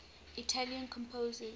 italian composers